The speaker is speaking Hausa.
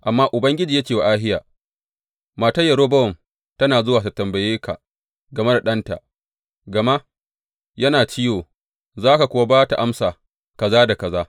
Amma Ubangiji ya ce wa Ahiya, Matar Yerobowam tana zuwa tă tambaye ka game da ɗanta, gama yana ciwo, za ka kuwa ba ta amsa kaza da kaza.